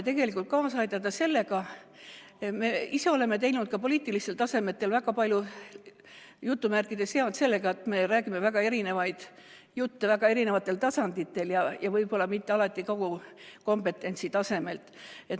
Aga me ise oleme teinud ka poliitilistel tasemetel väga palju "head" sellega, et me räägime väga erinevat juttu väga erinevatel tasanditel ja võib-olla mitte alati kogu kompetentsi tasemelt.